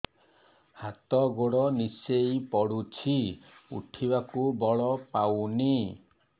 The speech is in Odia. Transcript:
ହାତ ଗୋଡ ନିସେଇ ପଡୁଛି ଉଠିବାକୁ ବଳ ପାଉନି